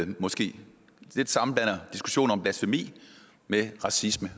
man måske lidt sammenblander diskussioner om blasfemi med racisme